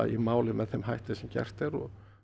í málið með þeim hætti sem gert er